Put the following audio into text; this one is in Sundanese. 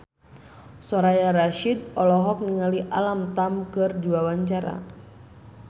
Soraya Rasyid olohok ningali Alam Tam keur diwawancara